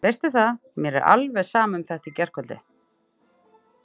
Veistu það að mér er alveg sama um þetta í gærkvöldi.